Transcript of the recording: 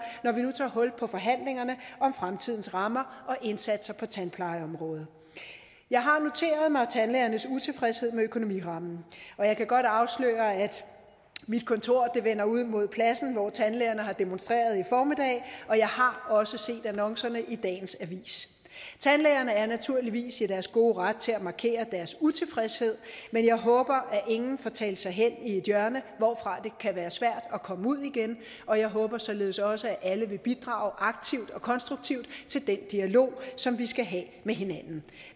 når vi nu tager hul på forhandlingerne om fremtidens rammer og indsatser på tandplejeområdet jeg har noteret mig tandlægernes utilfredshed med økonomirammen og jeg kan godt afsløre at mit kontor vender ud mod pladsen hvor tandlægerne har demonstreret i formiddag og jeg har også set annoncerne i dagens avis tandlægerne er naturligvis i deres gode ret til at markere deres utilfredshed men jeg håber at ingen får talt sig hen i et hjørne hvorfra det kan være svært at komme ud igen og jeg håber således også at alle vil bidrage aktivt og konstruktivt til den dialog som vi skal have med hinanden